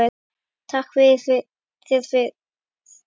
Takka þér fyrir